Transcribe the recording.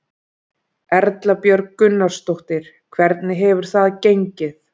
Erla Björg Gunnarsdóttir: Hvernig hefur það gengið?